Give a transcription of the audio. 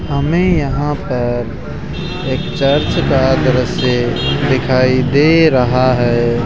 हमें यहां पर एक चर्च का दृश्य दिखाई दे रहा है।